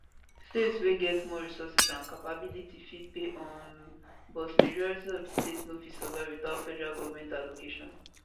states wey get more resources and capability fit pay um but majority of di state no fit survive witout federal goment allocation